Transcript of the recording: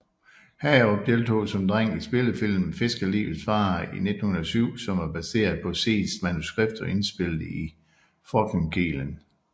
Hagerup deltog som dreng i spillefilmen Fiskerlivets farer i 1907 som var baseret på Seests manuskript og indspillet i Frognerkilen